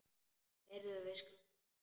Heyrðu, við skulum koma.